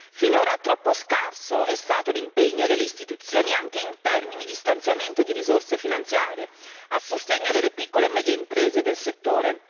Finora troppo scarso è stato l'impegno delle istituzioni, anche in termini di stanziamento di risorse finanziarie a sostegno delle piccole e medie imprese del settore.